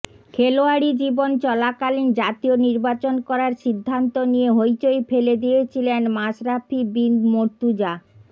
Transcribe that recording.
খেলোয়াড়ি জীবন চলাকালীন জাতীয় নির্বাচন করার সিদ্ধান্ত নিয়ে হইচই ফেলে দিয়েছিলেন মাশরাফি বিন মর্তুজা